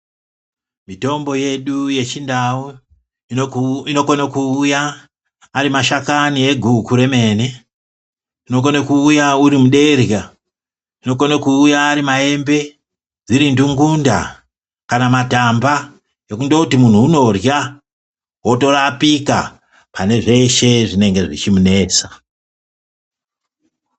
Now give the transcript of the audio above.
itombo yedu yechindau inokone kuuya ari mashakani eguku remene ,unokone kuuya uri muderya , unokone kuuya ari maembe, dziri ndungunda kana matamba ekundoti munhu unorya otorapika pane zveshe zvinenge zvichimunetsa.